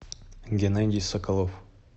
геннадий соколов